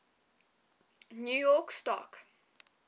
new york stock